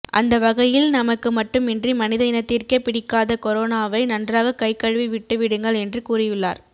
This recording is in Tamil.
அந்த வகையில் நமக்கு மட்டுமின்றி மனித இனத்திற்கே பிடிக்காத கொரோனாவை நன்றாக கைகழுவி விட்டு விடுங்கள் என்று கூறியுள்ளார்